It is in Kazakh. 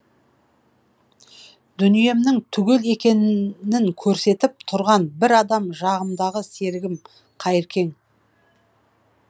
дүниемнің түгел екенінін көрсетіп тұрған бір адам серігім қайыркең